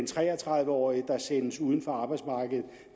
tre og tredive årige der sendes uden for arbejdsmarkedet